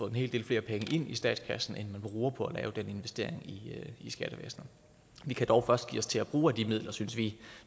en hel del flere penge ind i statskassen end man bruger på at lave den investering i skattevæsenet vi kan dog først give os til at bruge af de midler synes vi